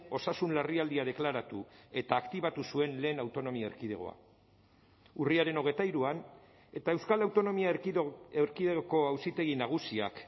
osasun larrialdia deklaratu eta aktibatu zuen lehen autonomia erkidegoa urriaren hogeita hiruan eta euskal autonomia erkidegoko auzitegi nagusiak